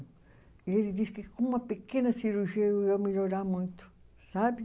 E ele disse que com uma pequena cirurgia eu ia melhorar muito, sabe?